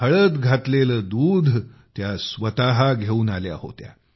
हळद घातलेले दुध त्या स्वतः घेऊन आल्या होत्या